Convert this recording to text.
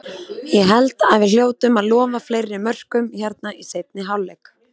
Ég held að við hljótum að lofa fleiri mörkum hérna í seinni hálfleik.